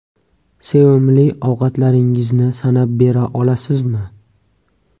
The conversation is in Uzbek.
Sevimli ovqatlaringizni sanab bera olasizmi?